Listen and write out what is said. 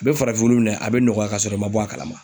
A be farafin wulu minɛ a be nɔgɔya kasɔrɔ i ma bɔ a kalama